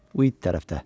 Bu it tərəfdə.